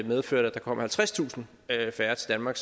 medførte at der kom halvtredstusind færre til danmark